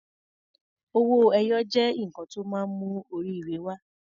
Owó ẹyọ jẹ́ nǹkan tó máa ń mú oríire wa.